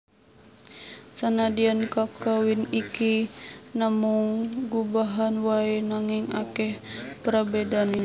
Sanadyan kakawin iki namung gubahan waé nanging akèh prabédané